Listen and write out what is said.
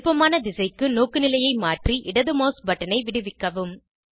விருப்பமான திசைக்கு நோக்குநிலையை மாற்றி இடது மவுஸ் பட்டனை விடுவிக்கவும்